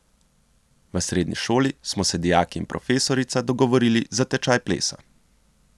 V srednji šoli smo se dijaki in profesorica dogovorili za tečaj plesa.